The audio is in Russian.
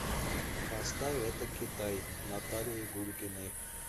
поставь это китай наталии гулькиной